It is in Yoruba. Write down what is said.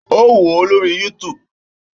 Ó wò ó lórí YouTube